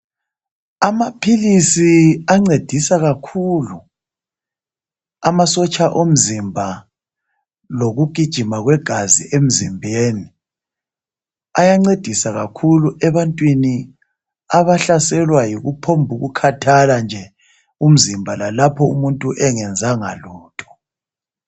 Amaphilisi ancedisa kakhulu amasotsha omzimba lokugijima kwegazi emzimbeni ayancedisa kakhulu ebantwini abahlaselwa yikuphombuku khathala nje umzimba lalapho umuntu engenzanga lutho.